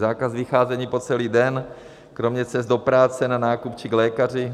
Zákaz vycházení po celý den kromě cest do práce, na nákup či k lékaři.